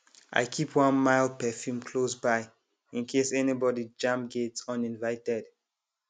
i keep one mild perfume close by in case anybody jam gate uninvited